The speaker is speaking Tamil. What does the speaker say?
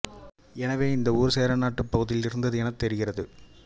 எனவே இந்த ஊர் சேரநாட்டுப் பகுதியில் இருந்தது எனத் தெரிகிறது